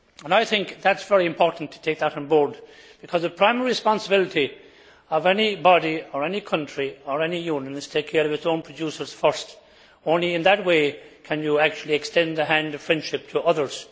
I think it is very important to take that on board, because the primary responsibility of any body, country or union is to take care of its own producers first. Only in that way can you actually extend the hand of friendship to others.